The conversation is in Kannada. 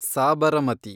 ಸಾಬರಮತಿ